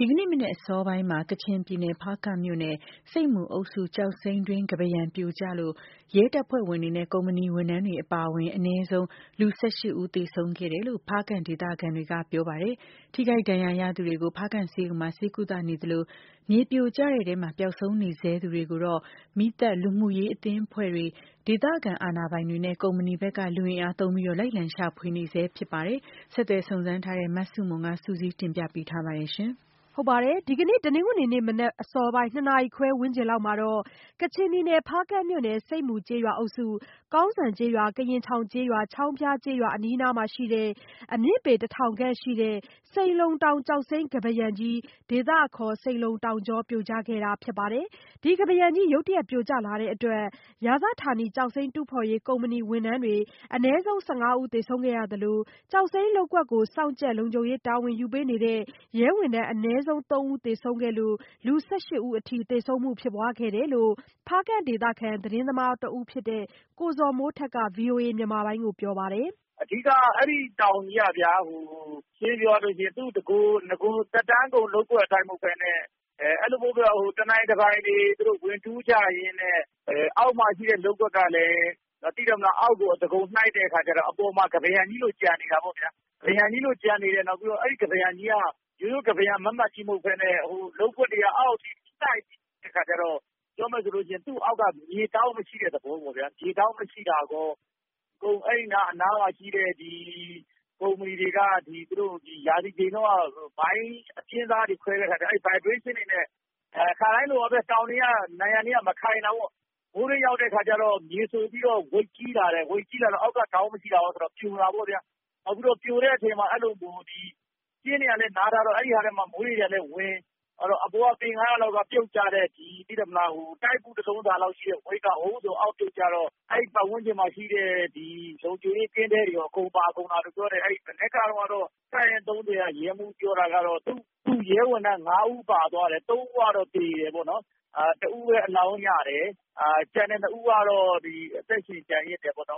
ဒီကနေ့ မနက်အစောပိုင်းမှာ ကချင်ပြည်နယ် ၊ဖားကန့်မြို့နယ် ၊ ဆိတ်မူအုပ်စု ကျောက်စိမ်းတွင်း ကမ်းပါးရံ ပြိုကျလို့ ရဲတပ်ဖွဲ့ဝင်တွေနဲ့ ကုမ္ပဏီဝန်ထမ်းတွေ အပါအဝင် အနည်းဆုံး လူ၁၈ဦး သေဆုံးခဲ့တယ်လို့ ဖားကန့်ဒေသခံတွေကပြောပါတယ်။ ထိခိုက်ဒဏ်ရာရသူတွေကို ဖားကန့်ဆေးရုံမှာ ဆေးကုသနေသလို မြေပြိုကျမှုထဲ ပျောက်ဆုံးနေဆဲသူတွေကိုတော့ မီးသတ်၊ လူမှုရေးအသင်းအဖွဲ့တွေ ဒေသခံအာဏာပိုင်တွေနဲ့ ကုမ္ပဏီဘက်က လူအင်အားသုံး လိုက်လံရှာဖွေနေဆဲဖြစ်ပါတယ်။ ဆက်သွယ်စုံစမ်းထားတဲ့ မဆုမွန် စုစည်းတင်ပြထားပါတယ်။ ဒီကနေ့ တနင်္ဂနွေမနက်အစောပိုင်း ၂ နာရီခွဲ ဝန်းကျင်လောက်မှာ ကချင်ပြည်နယ် ဖားကန့်မြို့နယ် ဆိပ်မူကျေးရွာအုပ်စု ကောင်စံကျေးရွာ ၊ကရင်ချောင်ကျေးရွာ ၊ချောင်းဖျားကျေးရွာ အနီးနားမှာရှိတဲ့ အမြင့်ပေ တထောင်ခန့်ရှိတဲ့ စိန်လုံတောင် ကျောက်စိမ်းကမ်းပါးယံကြီး ဒေသအခေါ် စိန်လုံ တောင်ကြော ပြိုကျခဲ့တာဖြစ်ပါတယ်။ ဒီကမ်းပါးကြီး ရုတ်တရက် ပြိုကျလာတဲ့အတွက် ရာဇဌာနီ ကျောက်စိမ်းတူးဖော်ရေး ကုမ္ပဏီဝန်ထမ်းတွေ အနည်းဆုံး ၁၅ဦး သေဆုံးခဲ့ပြီး ကျောက်စိမ်း လုပ်ကွက်ကို စောင့်ကြပ်လုံခြုံရေး တာဝန်ယူပေးထားတဲ့ ရဲဝန်ထမ်းအနည်းဆုံး ၃ဦးသေဆုံးခဲ့လို့ လူ၁၈ဦးအထိ သေဆုံးမှုဖြစ်ပွားခဲ့တယ်လို့ ဖားကန့်ဒေသခံ သတင်းသမားတဦးဖြစ်တဲ့ ကိုဇော်မိုးထက်က ဗွီအိုအေမြန်မာပိုင်းကို အခုလိုပြောပြပါတယ်။ “အဓိက အဲဒီတောင်ကြီးက ရှင်းရှင်းပြောရရင် နဂို သက်တမ်းကုန်လုပ်တာမဟုတ်ပဲနဲ့ တနိုင်တပိုင်တွေ ဝင်တူးကြရင်းနဲ့ အောက်မှာရှိတဲ့ လုပ်ကွက်ကလည်း အောက်ကို အသားကုန်နှိုက်ရင်းနဲ့ အပေါ်မှာ ကမ်းပါးရံကြီးလို ကျန်နေတာပေါ့ဗျာ။ အဲဒီ ကမ်းပါးရံကြီးက ရိုးရိုးကမ်းပါးရုံမတ်မတ်ကြီး မဟုတ်ပဲနဲ့ လုပ်ကွက်တွေက အောက်အထိရှိတဲ့အခါကျတော့ ပြောမယ်ဆိုရင် သူ့အောက်က မြေမရှိတဲ့ သဘောပေ့ါဗျာ။ အဲဒါမရှိတာရော အနားမှာရှိတဲ့ ကုမ္ပဏီတွေက မှိုင်းအပြင်းစားတွေ ခွဲတဲ့အခါကျတော့ အဲဒီမှိုင်း vibration တွေနဲ့ ခါတိုင်းလို တောင်နံရံတွေက မခံတာပေါ့ ။ မိုးတွင်းရောက်တဲ့အခါကျတော့ ရေစိုပြီးတော့ weight ကြီးလာတယ်။ အဲဒါဆိုတော့ ပြိုတာပေါ့ဗျာ။ နောက်ပြီးတော့ ပြိုတဲ့အခါမှာ ကျင်းတွေကလည်း နားထားတော့ အဲဒီအထဲမှာ မိုးတွေကလည်း ဝင် ၊ အဲဒီတော့အပေါ်က ပေ ၅၀၀ လောက်ကနေ ပြုတ်ကျတဲ့ တိုက်ပု တလုံးစာလောက်ရှိတဲ့ weight က အောက်ပြုတ်ကျတော့ အဲဒီ ပတ်ဝန်းကျင်မှာရှိတဲ့ လုံခြုံရေး ကင်းတဲတွေရော အကုန်လုံးပါကုန်တာလို့ပြောတယ်။ မနက်ကတော့ ရဲမှူးပြောတာကတော့ သူ့ရဲဝန်ထမ်း ၅ ဦးပါသွားတယ်။ ၃ ဦးကတော့ သေတယ်ပေါ့နော်။ တဦးပဲ အလောင်းရတယ် ကျန်တဲ့ ၂ ဦးကတော့ အသက်ရှင်ကျန်ရစ်တယ်။ ဖားက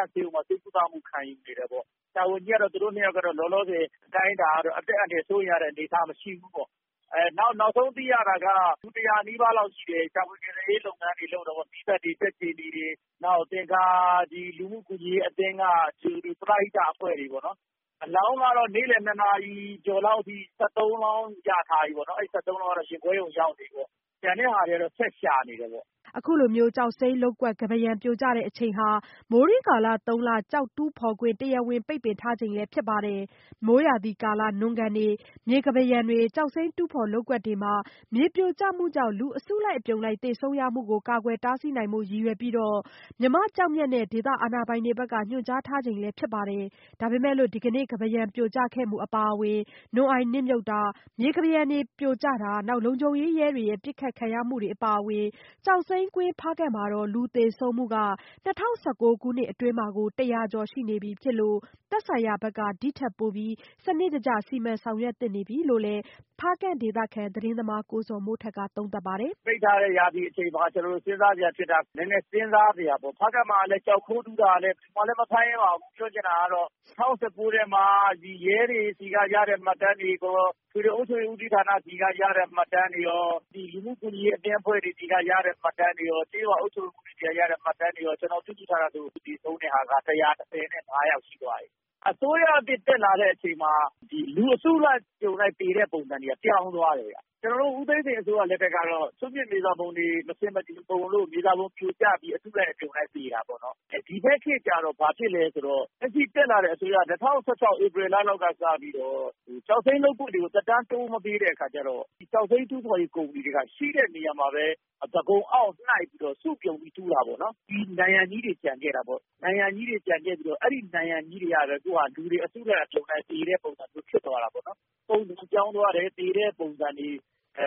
န့်ဆေးရုံမှာ ဆေးကုသမှု ခံယူနေတယ်ပေါ့။ ဆရာဝန်ကြီးကတော့ သူတို့ ၂ ယောက်လောလောဆည် အသက်အန္တရာယ် စိုးရိမ်ရတဲ့အနေအထား မရှိဘူးပေါ့နော်။ နောက်ဆုံးသိရတာက လူ ၁၀၀ နီးပါးလောက်ရှိတယ် ရှာဖွေ ကယ်ဆယ်ရေးလုပ်ငန်းတွေ လုပ်နေတယ်။ နောက်လူမှုကူညီရေးအသင်းက ဒီ ပရဟိတ အဖွဲ့တွေ ပေါ့နော် အလောင်းကတော့ နေ့လည် ၂ နာရီကျော်လော်ကအထိ ၁၃ လောင်းလောက်ရထားတယ်။ အဲဒီ ၁၃ လောင်းကတော့ ရင်ခွဲရုံကို ရောက်နေပြီပေါ့နော်။ ကျန်တာတွေကတော့ ဆက်ရှာနေတယ်ပေါ့။” အခုလို ကျောက်စိမ်းလုပ်ကွက် ကမ်းပါးရံပြိုကျချိန်ဟာ မိုးတွင်းကာလ သုံးလ ကျောက်တူးဖော်ခွင့် တရားဝင်ပိတ်ပင်ထားချိန ်လည်းဖြစ် ပါတယ်။ မိုးရာသီကာလ နွံကန်တွေ မြေကမ်းပါးရံတွေ ကျောက်စိမ်းတူးဖော်လုပ်ကွက်တွေမှာ မြေပြိုမှုကြောင့် လူအစုလိုက်အပြုံလိုက် သေဆုံးမှုတွေကို ကာကွယ်တားဆီးနိုင်ရန် ရည်ရွယ်ပြီး မြန်မာ့ကျောက်မျက်နဲ့ ဒေသခံအာဏာပိုင်တွေကနေ ညွှန်ကြားထားခဲ့အချိန်လည်း ဖြစ်ပါတယ် ။ ဒါပေမဲ့လို့ ဒီကနေ့ ကမ်းပါးပြိုကျခဲ့မှု အပါအဝင် နွံ့အိုင်နစ်မြုပ်တာ မြေပြိုကျတာ လုံခြုံရေးတွေရဲ့ပစ်ခတ်ခံရမှုတွေအပါအဝင် ကျောက်စိမ်းကွင်း ဖားကန့်မှာ လူသေဆုံးမှုက ၂၀၁၉ခုနှစ်အတွင်းမှာကို တရာကျော်ရှိနေပြီဖြစ်လို့ သက်ဆိုင်ရာက ဒီ့ထက်ပိုပြီး စနစ်တကျ စီမံဆောင်ရွက်သင့်နေပြီလို့လည်း ဖားကန့်ဒေသခံ သတင်းသမားကိုဇော်မိုးထက်က သုံးသပ်ပါတယ်။ “ပိတ်ထားတဲ့ ရာသီအချိန်မှာ ကျနော်တို့ နည်းနည်းစဉ်းစားစရာပေါ့။ ဖားကန့်မှာလည်း ကျောက်ခိုးတူးတာ ဖမ်းလည်းမဖမ်းရဲပါဘူး။ ပြောချင်တာကတော့ ၂၀၁၉ ထဲမှာ ရဲတွေဆီက ရတဲ့ မှတ်တမ်းတွေရော ၊ အထွေထွေအုပ်ချုပ်ရေးဌာနဆီက ရတဲ့ မှတ်တမ်းတွေရော ၊ နောက်လူမှုကူညီရေးအသင်းက ရတဲ့ မှတ်တမ်းတွေရော၊ ကျေးရွာအုပ်ချုပ်ရေးမှူးဆီက ရတဲ့ မှတ်တမ်းတွေရောကျနော်စုထားတာဆိုရင် အခုထိ သေဆုံးတာက ၁၁၅ ယောက်ရှိသွားပြီ။ အစိုးရသစ် တက်လာတဲ့အချိန်မှာ လူအစုလိုက် အပြုံလိုက်သေတဲ့ပုံစံတွေက ပြောင်းသွားတယ်။ ဦးသိန်းစိန် လက်ထက်က စွန့်ပစ်မြေစာတွေ မဆင်မချင်ပုံလို့ မြေစာပုံပြိုကျပြီး အစုလိုက် အပြုံလိုက် သေတာပေါ့နော်။ ဒီဘက်ခေတ်ကျတော့ ဘာဖြစ်လဲဆိုတော့ လက်ရှိတက်လာတဲ့အစိုးရ ၂၀၁၆ ဧပြီလ ကစပြီး ကျောက်စိမ်းလုပ်ကွက်တွေကို သက်တမ်းတိုးမပေးတဲ့အခါကျတော့ ဒီကျောက်စိမ်းတူးတဲ့ ကုမ္ပဏီတွေက ရှိတဲ့နေရာမှာပဲ အသားကုန်အောင့်ပြီးတော့ နှိုက်ပြီး စုပြုံပြီး တူးတာပေါ့နော်။ ဒီ နံရံကြီးတွေ ကျန်ခဲ့တာပေါ့နော် ။ ဒီနံရံကြီးတွေကပဲ လူတွေ အစုလိုက်အပြုံလိုက် သေတဲ့ ပုံစံလိုဖြစ်နေတယ်။ ပုံစံပြောင်းသွားတယ် သေတဲ့ပုံစံတွေ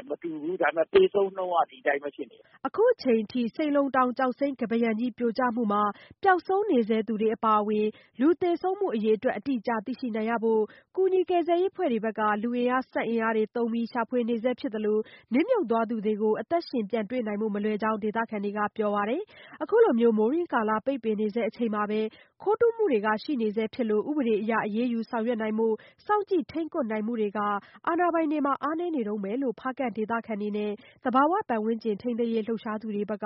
မတူဘူး သေဆုံးနှုန်းက ဒီအတိုင်းပဲ ဖြစ်နေတယ်။” အခုအချိန်အထိ ပျောက်ဆုံးနေဆဲသူတွေအပါအဝင် လူသေဆုံးမှု အရေအတွက် အတိအကျ ကို သိရှိရနိုင်ဖို့ ကူညီကယ်ဆယ်ရေး အဖွဲ့တွေဘက်က လူအင်အား စက်အင်အားသုံးရှာဖွေနေဆဲဖြစ်ပြီး နစ်မြုတ်သွားသူတွေကို အသက်ရှင်ပြန်တွေ့ဖို့မလွယ်ကြောင်း ဒေသခံတွေကပြောပါတယ်။ အခုလို မိုးတွင်းကာလ တူးဖော်ခွင့်ပိတ်ပင်နေဆဲအချိန်မှာပဲ ခိုးတူးမှုတွေရှိနေဆဲဖြစ်သလို ကျောက်စိမ်းတူး ကုမ္ပဏီတွေ အပေါ် ဥပဒေအရ အရေးယူဆောင်ရွက်နိုင်မှု စောင့်ကြည့် ထိန်းကွပ်နိုင်မှု အားနည်းနေတုန်းပဲလို့ ဖားကန့်ဒေသခံတွေနဲ့ သဘာဝပတ်ဝန်းကျင်ထိန်းသိမ်းရေးလှုပ်ရှားသူတွေဘက်က